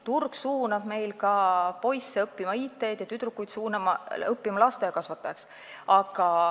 Turg suunab meil ka poisse õppima IT-d ja tüdrukuid lasteaiakasvatajaks.